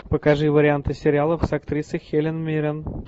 покажи варианты сериалов с актрисой хелен миррен